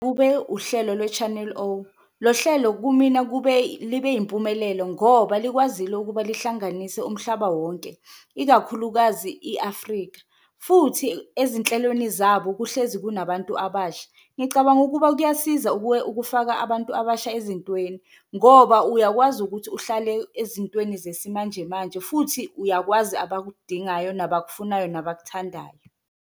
Kube uhlelo lwe-Channel O, lo hlelo kumina kube libe impumelelo ngoba likwazile ukuba lihlanganise umhlaba wonke, ikakhulukazi i-Afrika, futhi ezinhlelweni zabo kuhlezi kunabantu abasha. Ngicabanga ukuba kuyasiza ukufaka abantu abasha ezintweni ngoba uyakwazi ukuthi, uhlale ezintweni zesimanjemanje futhi uyakwazi abakudingayo, abakufunayo, nabakuthandayo.